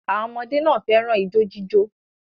Àwọn ọmọdé náà fẹ́ràn ijó jíjó.